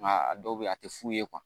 Nka a dɔw bɛ yen a tɛ fu ye